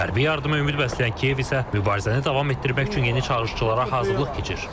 Hərbi yardıma ümid bəsləyən Kiyev isə mübarizəni davam etdirmək üçün yeni çağırışçılara hazırlıq keçir.